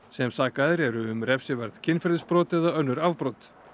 sem sakaðir eru um refsiverð kynferðisbrot eða önnur afbrot